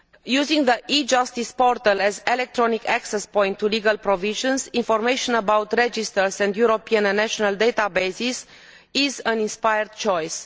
Using the e justice portal as an electronic access point to legal provisions, information about registers and European and national databases is an inspired choice.